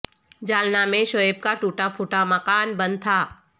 جالنہ میں شعیب کا ٹوٹا پھوٹا مکان بند تھا